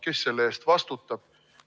Kes selle eest vastutab?